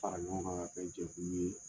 A ɲɔgɔn ka kan ka kɛ jɛkulu ye.